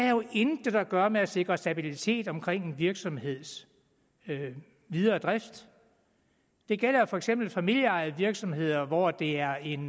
jo intet at gøre med at sikre stabilitet omkring en virksomheds videre drift det gælder for eksempel familieejede virksomheder hvor det er en